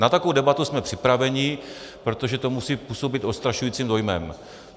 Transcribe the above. Na takovou debatu jsme připraveni, protože to musí působit odstrašujícím dojmem.